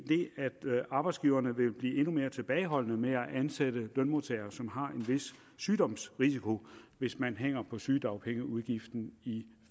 arbejdsgiverne vil blive endnu mere tilbageholdende med at ansætte lønmodtagere som har en vis sygdomsrisiko hvis man hænger på sygedagpengeudgiften i